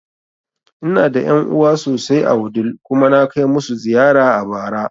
Ina da ƴan'uwa sosai a Wudil kuma na kai masu ziyara a bara